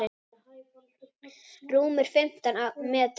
Rúmir fimmtán metrar.